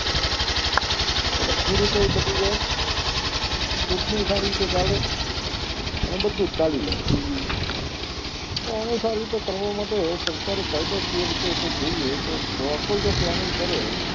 એટલે ખેડૂતો એ બચી જાય ચૂંટણી એ સારી રીતે ચાલે અને બધું જ રીતે ચાલી જાય અને સારી રીતે કરવા માટે સરકારે કાયદો કઈ કઈ રીતે એ તો જોઈએ તો proper જો training કરે